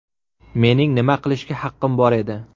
Mening nima qilishga haqqim bor edi.